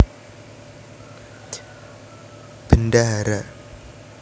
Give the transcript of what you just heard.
Bendahara